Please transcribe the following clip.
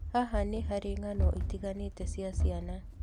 Haha nĩ harĩ ng'ano itiganĩte cia ciana.